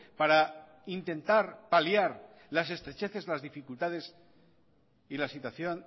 para intentar paliar las estrecheces las dificultades y la situación